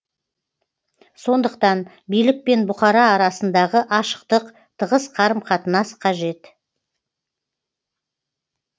сондықтан билік пен бұқара арасындағы ашықтық тығыз қарым қатынас қажет